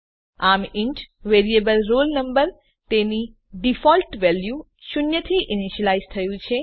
આમ int variable roll number તેની default value શૂન્યથી ઈનીશ્યલાઈઝ થયું છે